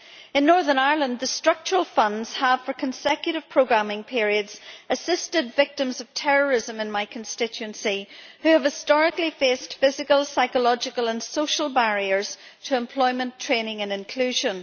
In Northern Ireland, the Structural Funds have for consecutive programming periods assisted victims of terrorism in my constituency who have historically faced physical, psychological and social barriers to employment, training and inclusion.